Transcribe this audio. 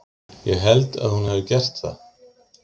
Ég held að hún hafi gert það.